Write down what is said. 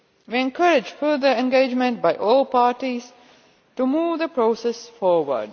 We encourage further engagement by all parties to move the process forward.